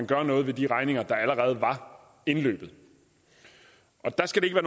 gøre noget ved de regninger der allerede var indløbet og der skal det